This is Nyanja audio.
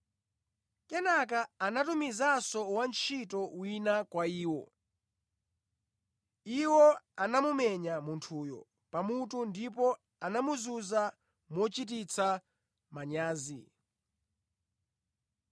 Kenaka anatumizanso wantchito wina kwa iwo. Iwo anamumenya munthuyo pamutu ndipo anamuzunza mochititsa manyazi.